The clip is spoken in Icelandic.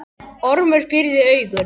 Ormur pírði augun.